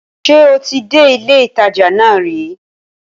Ṣé o ti dé ilé ìtajà nà ri?